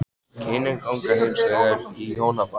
Kynin ganga hins vegar í hjónaband.